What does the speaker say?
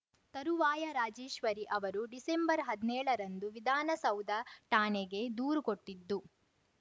ತರುವಾಯ ರಾಜೇಶ್ವರಿ ಅವರು ಡಿಸೆಂಬರ್ಹದ್ನೇಳ ರಂದು ವಿಧಾನಸೌಧ ಠಾಣೆಗೆ ದೂರು ಕೊಟ್ಟಿದ್ದು